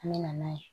An mɛna n'a ye